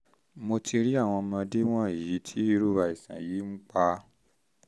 mo ti rí àwọn ọmọdé wọ̀nyí tí irú àìsàn yìí ń pa